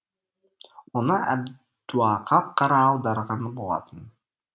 оны әбдуақап қара аударған болатын